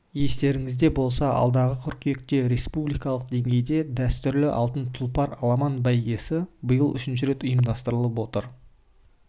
естеріңізде болса алдағы қыркүйекте республикалық деңгейде дәстүрлі алтын тұлпар аламан бәйгесі биыл үшінші рет ұйымдастырылып отыр